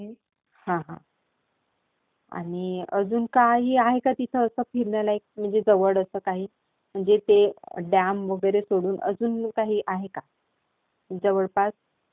हा, हा. आणि अजून काही आहे का तिथे असं, फिरण्यालायक म्हणजे जवळ असं काही. म्हणजे ते डॅम वगैरे सोडून अजून काही आहे का जवळपास?